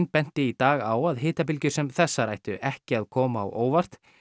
benti í dag á að hitabylgjur sem þessar ættu ekki að koma á óvart